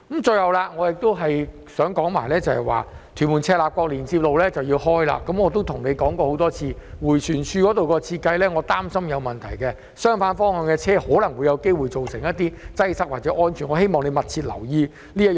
最後，我亦想說，屯門至赤鱲角連接路即將通車，我亦曾多次向局長表示，我擔心迴旋處的設計有問題，相反方向的車輛可能會造成擠塞或構成安全問題，我希望他會密切留意此事。